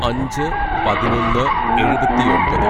"അഞ്ച് പതിനൊന്ന് എഴുപത്തിയൊമ്പത്‌